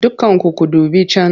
Dukkanku ku dubi can!